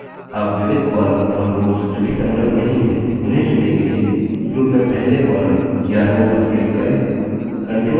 अब विविध columns और रोव्स जो की संलग्न नहीं है उन्हें चुनने के लिए group में पहले columns या rows पर click करें